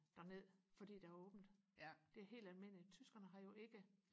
derned fordi der er åbent det er helt almindeligt tyskerne har jo ikke